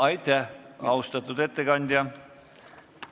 Aitäh, austatud ettekandja!